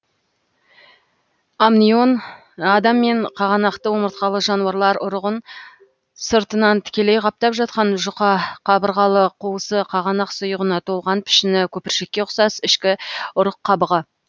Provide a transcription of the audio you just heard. амнион адам мен қағанақты омыртқалы жануарлар ұрығын сыртынан тікелей қаптап жатқан жұқа қабырғалы қуысы қағанақ сұйығына толған пішіні көпіршікке ұқсас ішкі ұрық қабығы